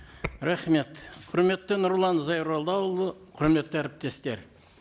рахмет құрметті нұрлан зайроллаұлы құрметті әріптестер